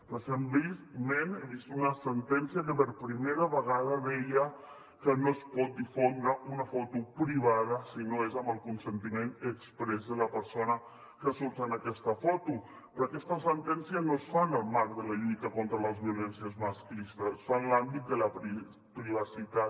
recentment he vist una sentència que per primera vegada deia que no es pot difondre una foto privada si no és amb el consentiment exprés de la persona que surt en aquesta foto però aquesta sentència no es fa en el marc de la lluita contra les violències masclistes es fa en l’àmbit de la privacitat